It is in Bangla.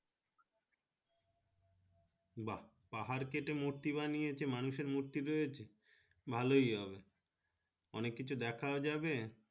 বা পাহাড় কেটে মূর্তি বানিয়েছে মানুষের মূর্তি রয়েছে ভালো হবে অনেক কিছু দেখাও যাবে।